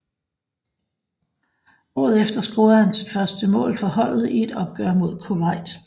Året efter scorede han sit første mål for holdet i et opgør mod Kuwait